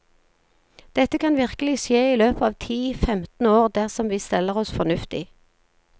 Dette kan virkelig skje i løpet av ti, femten år dersom vi steller oss fornuftig.